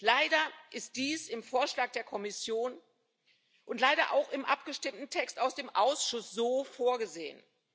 Leider ist dies im Vorschlag der Kommission und leider auch im abgestimmten Text aus dem Ausschuss so vorgesehen.